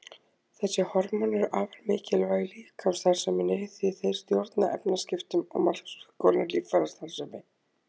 Þessi hormón eru afar mikilvæg líkamsstarfseminni því þeir stjórna efnaskiptum og margs konar líffærastarfsemi.